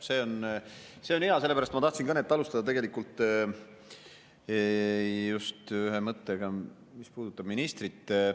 See on hea, sellepärast et ma tahtsin kõnet alustada tegelikult just ühe mõttega, mis puudutab ministrit.